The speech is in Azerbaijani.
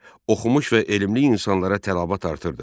Oxumuş və elmli insanlara tələbat artırdı.